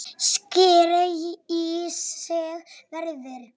Sækir í sig veðrið.